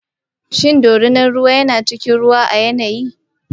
Shin dorina yana cikin ruwa a yanayi?